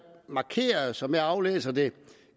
markeret som jeg aflæser det